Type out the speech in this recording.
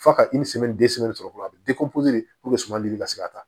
F'a ka sɔrɔ dɔrɔn a be sumali ka se ka taa